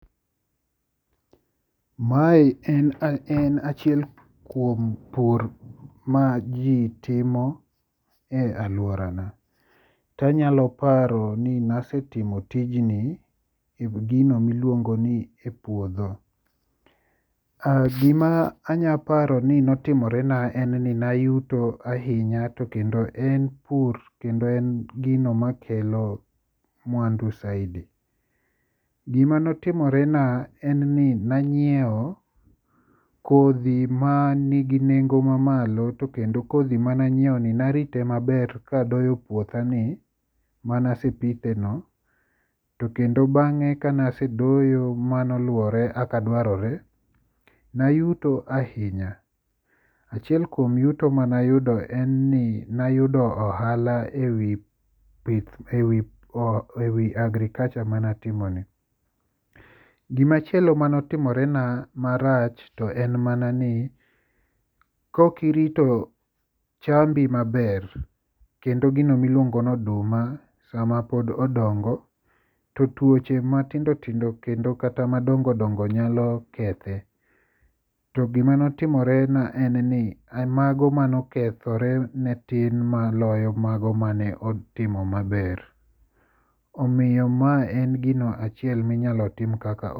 Mae en achiel kuom pur ma ji timo e alworana. Tanyalo paro ni nasetimo tijni e gino miluongo ni e puodho. Gima anyaparo ni notimorena en ni nayuto ahinya to kendo en puro to kendo en gino makelo mwandu saidi. Gima notimore na en ni nanyieo kodhi manigi nengo mamalo to kendo kodhi mananyieo ni narite maber kadoyo puothani manasepitheno to kendo bang'e kanasedoyo manoluore aka dwarore, nayuto ahinya. Achiel kuom yuto manayudo en ni nayudo ohala e wi agriculture manatimoni. Gimachielo manotimorena marach to en ni kokirito chambi maber kendo gino miluongo no oduma sama pod odongo to tuoche matindotindo kendo kata madongodongo nyalo kethe. To gimanotimorena en ni mago manokethore ne tin maloyo mago mane otimo maber, omiyo ma en gino achiel minyalo tim kaka..